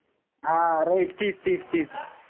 हा right तीच-तीच-तीच